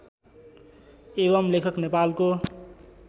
एवम् लेखक नेपालको